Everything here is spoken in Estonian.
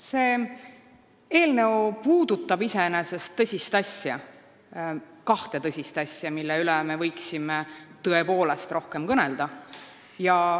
See eelnõu puudutab iseenesest kahte tõsist asja, millest me võiksime tõepoolest rohkem kõnelda.